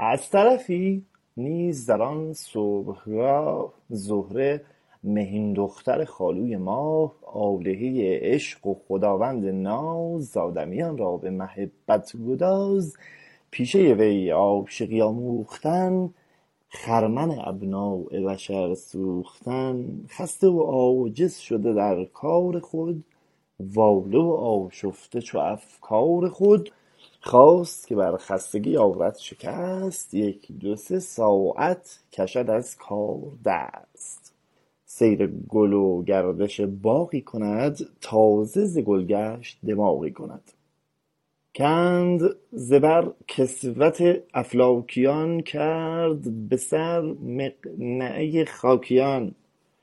از طرفی نیز در آن صبح گاه زهره مهین دختر خالوی ماه آلهۀ عشق و خداوند ناز آدمیان را به محبت گداز پیشۀ وی عاشقی آموختن خرمن ابناء بشر سوختن خسته و عاجز شده در کار خود واله و آشفته جو افکار خود خواست که برخستگی آرد شکست یک دو سه ساعت کشد از کار دست سیر گل و گردش باغی کند تازه ز گل گشت دماغی کند کند ز بر کسوت افلاکیان کرد به سر مقنعه خاکیان